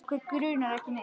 Okkur grunar ekki neitt.